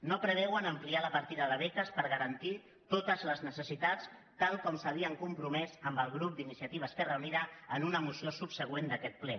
no preveuen ampliar la partida de beques per garantir totes les necessitats tal com s’havien compromès amb el grup d’iniciativa esquerra unida en una moció subsegüent d’aquest ple